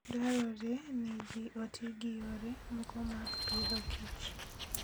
Dwarore ni ji oti gi yore moko mag Agriculture and Food